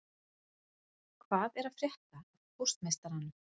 Hvað er að frétta af póstmeistaranum